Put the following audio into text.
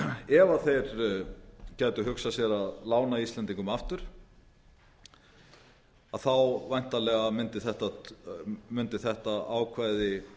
ef þeir gætu hugsað sér að lána íslendingum aftur þá væntanlega mundi þetta ákvæði